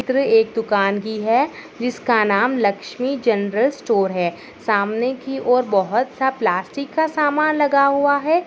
चित्र एक दुकान की है। जिसका नाम लक्ष्मी जनरल स्टोर है। सामने की और बहुत-सा प्लॅस्टिक का सामान लगा हुआ है।